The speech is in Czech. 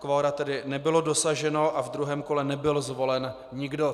Kvora tedy nebylo dosaženo a ve druhém kole nebyl zvolen nikdo.